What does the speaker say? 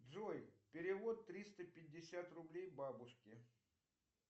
джой перевод триста пятьдесят рублей бабушке